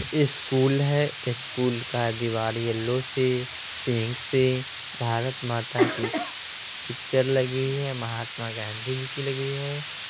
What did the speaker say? School है school का दिवार येलो से पिंक से भारत माता की पिक्चर लगी हुई है महात्मा गाँधी जी की लगी हुई है ।